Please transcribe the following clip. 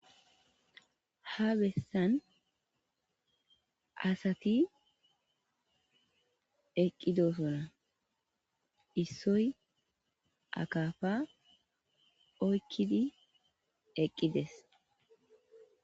Ha bessan asati eqqidosona. Issoy akafa oykkidi eqqides.